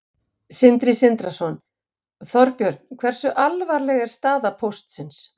Sindri Sindrason: Þorbjörn, hversu alvarleg er staða Póstsins?